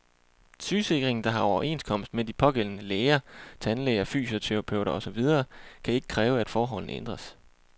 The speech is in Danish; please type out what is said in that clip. Sygesikringen, der har overenskomst med de pågældende læger, tandlæger, fysioterapeuter og så videre, kan ikke kræve, at forholdene ændres.